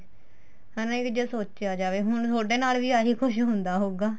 ਹਨਾ ਇਹ ਵੀ ਜੇ ਸੋਚਿਆ ਜਾਵੇ ਹੁਣ ਤੁਹਾਡੇ ਨਾਲ ਵੀ ਆਹੀ ਕੁੱਝ ਹੁੰਦਾ ਹੋਊਗਾ